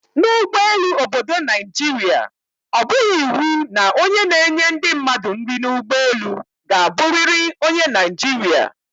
N' ụgbọelu obodo Naijiria, ọ bụghị iwu na onye na-enye ndị mmadụ nri n' ụgbọelu ka abụriri onye Naijirịa